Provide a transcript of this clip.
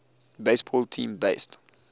baseball team based